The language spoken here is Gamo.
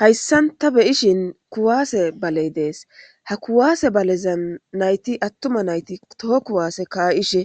Haysan ta beyishin kuwase balley dees. Ha kuwase balezan nayti attuma nayti kuwaseza ka'ishe